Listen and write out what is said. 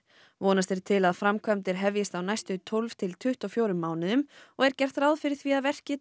vonast er til að framkvæmdir hefjist á næstu tólf til tuttugu og fjórum mánuðum og er gert ráð fyrir því að verkið